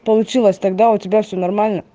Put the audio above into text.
получилось тогда у тебя все нормально